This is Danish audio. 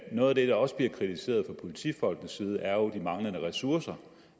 noget af det der også bliver kritiseret fra politifolkenes side er jo de manglende ressourcer